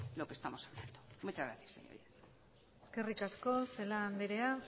lo que estamos haciendo muchas gracias eskerrik asko celaá andrea